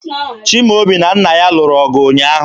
Chimaobi na nna ya lụrụ ọgụ ụnyaahụ